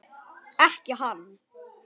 Ekki hann.